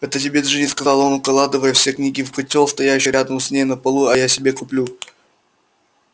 это тебе джинни сказал он укладывая все книги в котёл стоявший рядом с ней на полу а я себе куплю